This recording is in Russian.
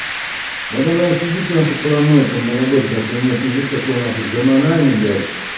вот она и сидит на хуй параноит там на работе так что у нее пиздец какой нахуй гормональный блять